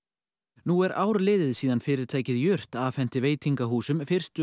nú er ár liðið síðan fyrirtækið jurt afhenti veitingahúsum fyrstu